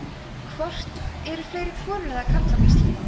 hvort eru fleiri konur eða karlar á íslandi